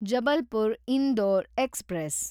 Jabalpur Indore express